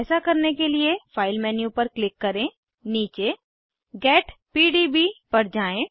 ऐसा करने के लिए फाइल मेन्यू पर क्लिक करें नीचे गेट पीडीबी पर जाएँ